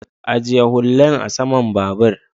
ajiye hullan a saman babur